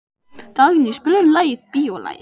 Dagný, spilaðu lagið „Bíólagið“.